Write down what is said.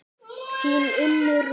Þín Unnur Rún.